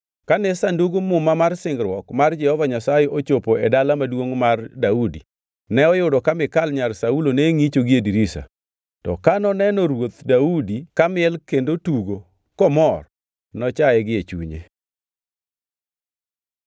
Kane Sandug Muma mar singruok mar Jehova Nyasaye ochopo e Dala Maduongʼ mar Daudi, ne oyudo ka Mikal nyar Saulo ne ngʼicho gie dirisa. To ka noneno Ruoth Daudi kamiel kendo tugo komor, nochaye gie chunye.